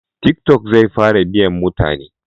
Tiki tok zai fara biyan mutane